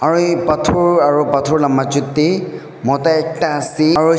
pathor aru pathor la machu te mota ekta ase.